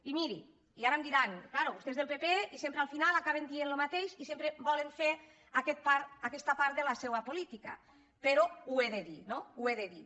i mirin i ara em diran clar vostè és del pp i sem·pre al final acaben dient el mateix i sempre volen fer aquesta part de la seva política però ho he dir no ho he de dir